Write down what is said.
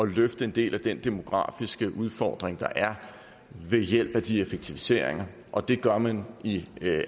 løfte en del af den demografiske udfordring der er ved hjælp af de effektiviseringer og det gør man i